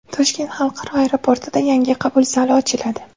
Toshkent xalqaro aeroportida yangi qabul zali ochiladi .